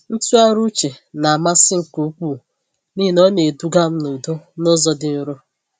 Ntụgharị uche namasị nke ukwuu n’ihi na ọ na-eduga m n’udo n’ụzọ dị nro.